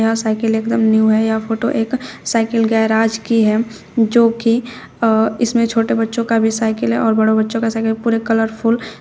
यह साइकिल एकदम न्यू है यह फोटो एक साइकिल गेराज की है जो कि अ इसमें छोटे बच्चों का भी साइकिल है और बड़ों बच्चों का साइकिल पूरे कलरफुल --